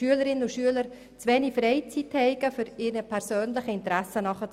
Weiter hätten Schülerinnen und Schüler zu wenig Freizeit, um ihren persönlichen Interessen nachzugehen.